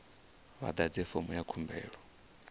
vha ḓadze fomo ya khumbelo